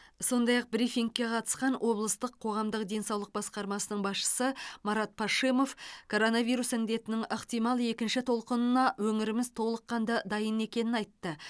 сондай ақ брифингке қатысқан облыстық қоғамдық денсаулық басқармасының басшысы марат пашимов коронавирус індетінің ықтимал екінші толқынына өңіріміз толыққанды дайын екенін айтты